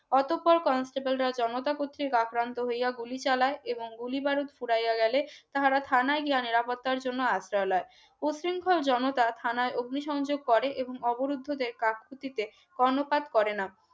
অতঃপর constable রা জনতা কর্তৃক আক্রান্ত হইয়া গুলি চালায় এবং গুলি বারুদ ফুরাইয়া গেলে তারা থানায় গিয়ে নিরাপত্তা জন্য আশ্রয় লই উশৃংখল জনতা থানায় অগ্নি সংযোগ করে এবং অবরুদ্ধদের কাজখুটিতে কর্ণপাত করে না